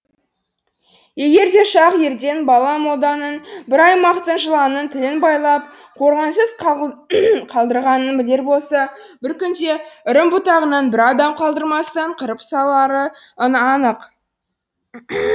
егер де шах ерден бала молданың бір аймақтың жыланының тілін байлап қорғансыз қалдырғанын білер болса бір күнде үрім бұтағынан бір адам қалдырмастан қырып салары анық